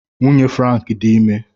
Nwunye Frank dị ime.